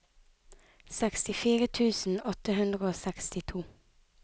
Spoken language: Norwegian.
sekstifire tusen åtte hundre og sekstito